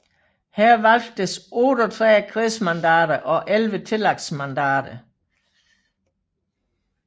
Her valgtes 38 kredsmandater og 11 tillægsmandater